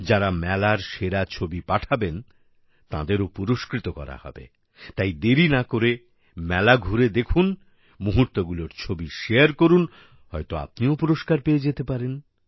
যাঁরা মেলার সেরা ছবি পাঠাবেন তাঁদেরও পুরস্কৃত করা হবে তাই দেরি না করে মেলা ঘুরে দেখুন মুহূর্তগুলির ছবি শারে করুন হয়ত আপনিও পুরস্কার পেয়ে যেতে পারেন